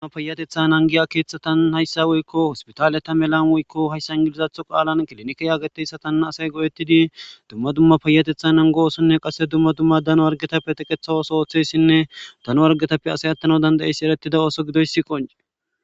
dumma payatetha angiya keeththatann hayssa woykko hospitaale ta melan woykko hayssa ngilizatho qaalan kilinike yaagateyssa tana asay go7ettidi dumma dumma payatethan angoosonne qasse dumma dumma dano argetappe teqethawos ooththessinne dano wargetappe asay attana dandayeyssi eretida ooso gidoyssi qonce